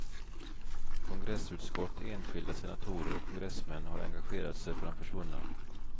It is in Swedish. Kongressutskott, enskilda senatorer och kongressmän har engagerat sig för de försvunna.